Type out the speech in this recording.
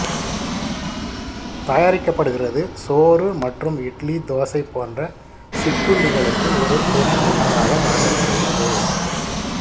தயாரிக்கப்படுகிறது சோறு மற்றும் இட்லி தோசை போன்ற சிற்றுண்டிகளுக்கு ஒரு துணை உணவாக வழங்கப்படுகிறது